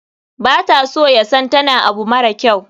bata so yasan tana abu mara kyau.